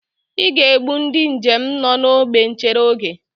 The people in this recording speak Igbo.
I ga-egbu ndị njem nọ n'ógbè nchere oge